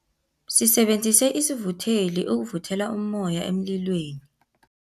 Sisebenzise isivutheli ukuvuthela ummoya emlilweni.